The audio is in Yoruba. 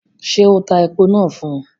Ṣé o tá èpo náà fún?